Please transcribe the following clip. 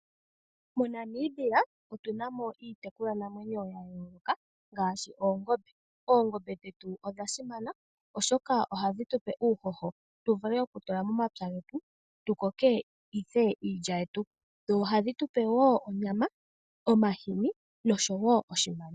MoNamibia otuna mo iitekulwa namwenyo ya yooloka ngaashi Oongombe. Oongombe dhetu odha simana oshoka ohadhi tupe uuhoho tu vule oku tula momapya getu, tu konge ihe iilya yetu. Dho ohadhi tupe wo onyama, omahini nosho wo oshimaliwa.